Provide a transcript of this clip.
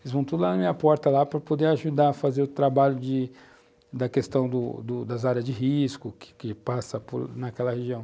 Eles vão tudo lá na minha porta para poder ajudar a fazer o trabalho da questão das áreas de risco que que passam naquela região.